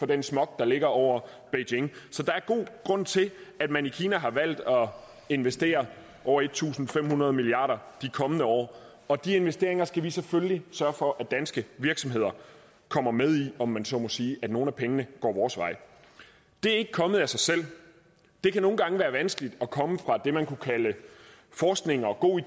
den smog der ligger over beijing så der er god grund til at man i kina har valgt at investere over en tusind fem hundrede milliard kroner de kommende år og de investeringer skal vi selvfølgelig sørge for at danske virksomheder kommer med i om man så må sige at nogle af pengene går vores vej det er ikke kommet af sig selv det kan nogle gange være vanskeligt at komme fra det man kunne kalde forskning og gode